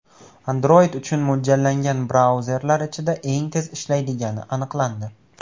Android uchun mo‘ljallangan brauzerlar ichida eng tez ishlaydigani aniqlandi.